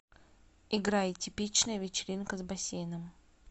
играй типичная вечеринка с бассейном